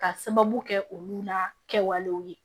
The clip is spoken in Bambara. Ka sababu kɛ olu la kɛwalew ye